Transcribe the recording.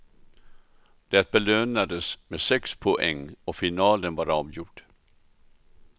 Det belönades med sex poäng och finalen var avgjord.